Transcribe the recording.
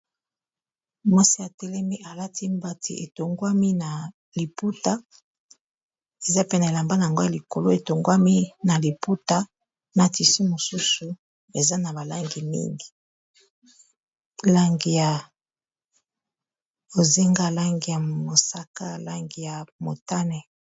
Mwasi atelemi, alati mbati etongwami na liputa. Eza pe na elambana yango ya likolo, etongwami na liputa, na tisi mosusu eza na balangi mingi. Langi ya bozenga, langi ya mosaka, langi ya motane.